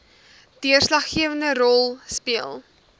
deurslaggewende rol speel